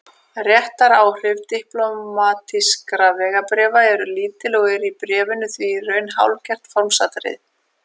Réttaráhrif diplómatískra vegabréfa eru lítil og eru bréfin því í raun hálfgert formsatriði.